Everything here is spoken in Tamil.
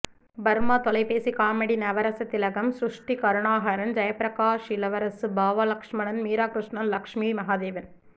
பர்மா தொலைப் பேசி காமெடி நவரச திலகம் ஸ்ருஷ்டி கருணாகரன் ஜெயபிரகாஷ் இளவரசு பாவா லட்சுமணன் மீராகிருஷ்ணன் லஷ்மி மகாதேவன்